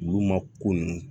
U y'u ma ko nunnu